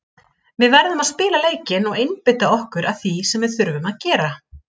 Við verðum að spila leikinn og einbeita okkur að því sem við þurfum að gera.